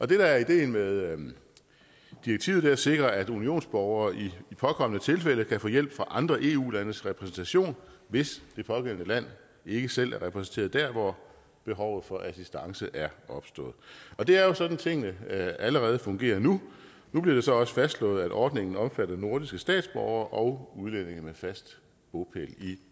det der er ideen med direktivet er at sikre at unionsborgere i påkommende tilfælde kan få hjælp fra andre eu landes repræsentationer hvis det pågældende land ikke selv er repræsenteret dér hvor behovet for assistance er opstået det er jo sådan tingene allerede fungerer nu nu bliver det så også fastslået at ordningen omfatter nordiske statsborgere og udlændinge med fast bopæl i